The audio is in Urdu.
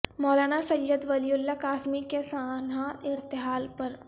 مولانا سید ولی اللہ قاسمی کے سانحہ ارتحال پر